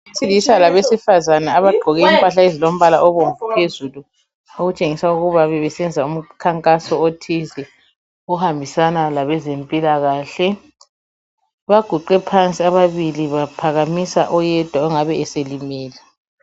Abesilisa labesifazane abagqoke impahla ezilombala obomvu phezulu, okutshengisa ukuba bebesenza umkhankaso othize, ohambisana labezempilakahle. Baguqe phansi ababili baphakamisa oyedwa ongabe eselimele.